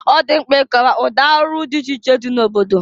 Ọ dị mkpa ị kọwa ụdị arụ dị iche iche dị n'obodo.